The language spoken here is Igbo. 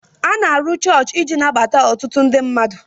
A na-arụ chọọchị iji nabata otụtụ ndị mmmadụ